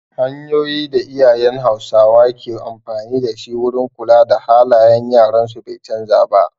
Hanyoyin da iyayen hausawa ke amfani dashi wurin kula da halayen yaran su bai canza ba